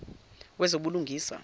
wezobulungisa